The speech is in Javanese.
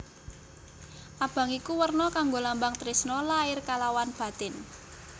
Abang iku werna kanggo lambang tresna lair kalawan batin